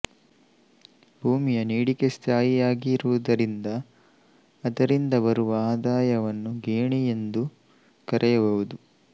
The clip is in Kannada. ಭೂಮಿಯ ನೀಡಿಕೆ ಸ್ಥಾಯಿಯಾಗಿರುವುದರಿಂದ ಅದರಿಂದ ಬರುವ ಆದಾಯವನ್ನು ಗೇಣಿ ಎಂದು ಕರೆಯಬಹುದು